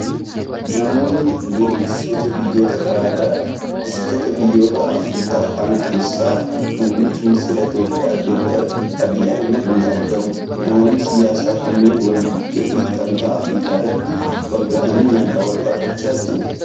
Namoonni kunneen, dursitoota biyyoota garaa garaa dha. Dursitoota biyyoota Afriikaa kana keessaa muummichi ministeeraa Itoophiyaa, Doktar Abiyyi Ahimad ni argamu. Namoonni siyaasa kunneen wal ga'ii gamtaa Afriikaa irratti wal gahanii nagaa wal gaafachaa jiru.